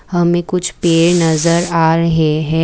हमें कुछ पेड़ नजर आ रहे हैं।